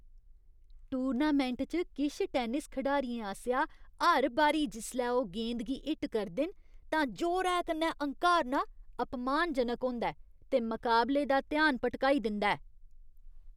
Tournament च किश tennis खडारियें आसेआ हर बारी जिसलै ओह् गेंद गी हिट करदे न तां जोरै कन्नै हंकारना अपमानजनक होंदा ऐ ते मकाबले दा ध्यान भटकाई दिंदा ऐ।